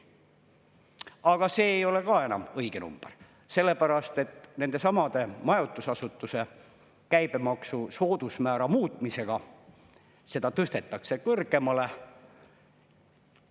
Aga see ei ole ka enam õige number, sellepärast et nendesamade majutusasutuste käibemaksu soodusmäära muutmisega seda tõstetakse kõrgemale.